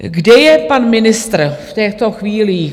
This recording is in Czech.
Kde je pan ministr v těchto chvílích?